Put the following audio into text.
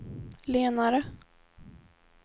lenare